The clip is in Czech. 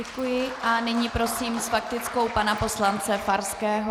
Děkuji a nyní prosím s faktickou pana poslance Farského.